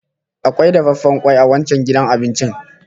Akwai dafaffen kwai a wancan gidan abincin